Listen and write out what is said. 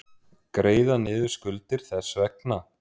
Greiða niður skuldir þess vegna.